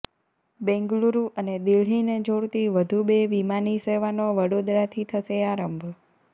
બેંગલુરૂ અને દિલ્હીને જોડતી વધુ બે વિમાની સેવાનો વડોદરાથી થશે આરંભ